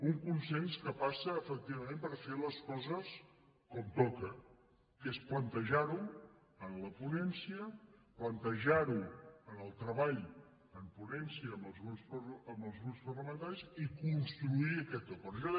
un consens que passa efectivament per fer les coses com toca que és plantejarho a la ponència plantejarho al treball en ponència amb els grups parlamentaris i construir aquest acord